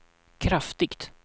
kraftigt